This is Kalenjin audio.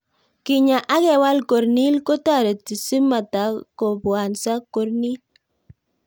Kenyaa ak kewal corneal kotareti si matako bwanso corneal